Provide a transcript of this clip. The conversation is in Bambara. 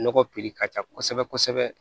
Nɔgɔ piri ka ca kosɛbɛ kosɛbɛ